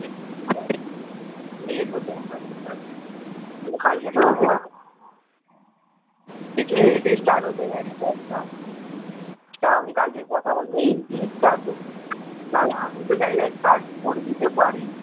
না হলে আমি তো চাইলে cut করে দিতে পারি